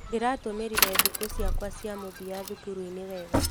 Ndĩratũmĩrire thikũ ciakwa cia mũthia thukuru-inĩ wega.